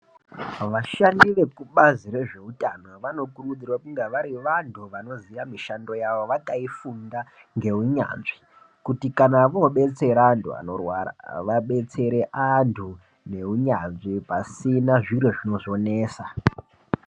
Vashandi vekubhazi rezvehutano ,vanokurudzirwa kunge vari vantu vanoziva mishando yavo vakayifunda nehunyazvi kuti kana vodetsera antu vanorwara vadetsere antu nehunyazvi pasina zviro zvinonetsa.